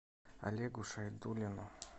олегу шайдуллину